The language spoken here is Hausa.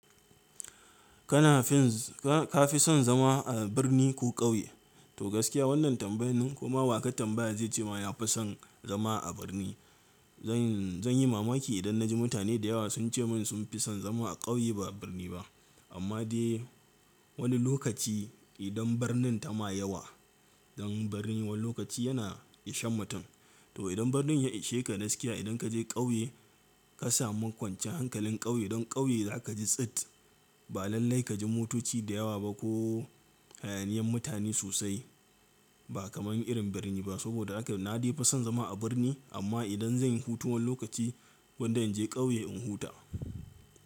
Kana finz ka fi son zama a birni ko ƙauye? To gaskiya wannan tambayan ko ma wa ka tambaya zai ce ma ya fi son zama a birni. Zan yi mamaki idan na ji mutane da yawa sun ce min sun fi son zama a ƙauye ba birni ba. Amma dai wani lokaci idan birnin ta ma yawa, zan birni wani lokaci yana ishan mutum. To idan birnin ya ishe ka gaskiya, idan ka je ƙauye ka samu kwancan hankalin ƙauye don ƙauye za ka ji tsit. Ba lallai ka ji motoci da yawa ba ko hayaniyan mutane sosai. Ba kamar irin birni ba saboda haka na fi son zama a birni amma idan zan yi hutun wani lokaci wanda in je ƙauye in huta.